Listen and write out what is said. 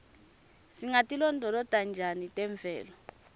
singatilondvolota njani temvelo